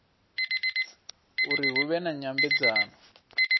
uri hu vhe na nyambedzano